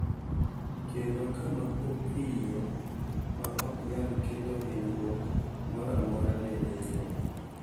Kendo kama opiyo ma ok nyal kelo hinyruok moro amora ne welo.